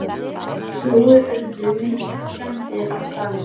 Jói, urðu miklar skemmdir á staðnum?